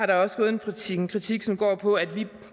der også en kritik en kritik som går på at vi